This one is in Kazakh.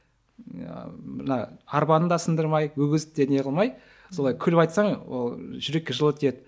ыыы мына арбаны да сындырмай өгізде де не қылмай солай күліп айтсаң ол жүрекке жылы тиеді